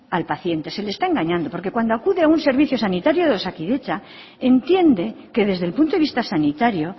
al paciente se le está engañando porque cuando acude a un servicio sanitario de osakidetza entiende que desde el punto de vista sanitario